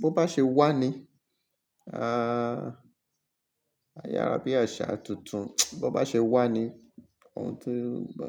bo bá ṣe wà ni, ah, ayára bí àṣà tuntun, bo bá ṣe wà ni ohun tí ń bá.